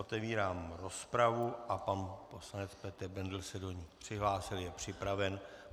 Otevírám rozpravu a pan poslanec Petr Bendl se do ní přihlásil, je připraven.